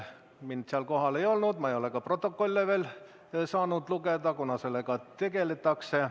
Mind seal kohal ei olnud, ma ei ole veel saanud ka protokolle lugeda, kuna sellega alles tegeldakse.